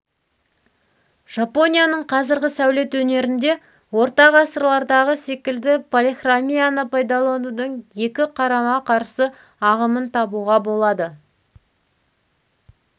жапонияның қазіргі сәулет өнерінде орта ғасырлардағы секілді полихромияның пайдаланудың екі қарама қарсы ағымын табуға болады